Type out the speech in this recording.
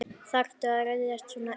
Þarftu að ryðjast svona inn?